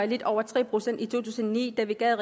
lidt over tre procent i to tusind og ni da vi gav